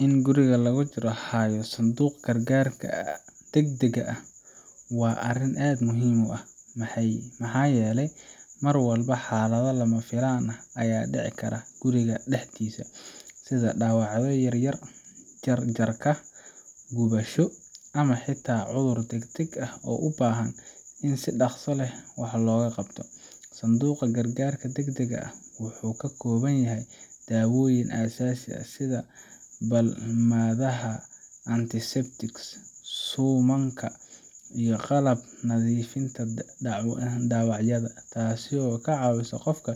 In guriga lagu hayo sanduuq gargaarka degdega ah waa arrin aad muhiim u ah, maxaa yeelay mar walba xaalado lama filaan ah ayaa ka dhici kara guriga dhexdiisa, sida dhaawacyo yaryar, jar jarka, gubasho, ama xitaa cudur degdeg ah oo u baahan in si dhaqso leh wax looga qabto. Sanduuqa gargaarka degdega ah wuxuu ka koobnaan karaa daawooyin aasaasi ah sida balmadaha, antiseptics, suumanka, iyo qalabka nadiifinta dhaawacyada, taasoo ka caawisa qofka